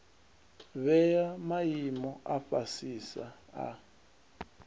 vhea maimo a fhasisa a